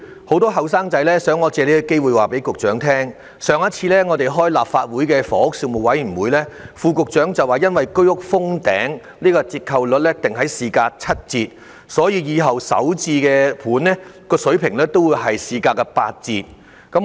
很多青年人想我藉此機會告訴局長，副局長在立法會房屋事務委員會上次會議上表示，由於居屋封頂，折扣率要訂於市價七折，日後首置樓盤的價格會訂於市價八折。